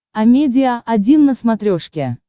амедиа один на смотрешке